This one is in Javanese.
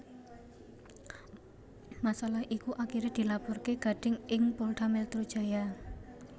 Masalah iku akhiré dilaporaké Gading ing Polda Metro Jaya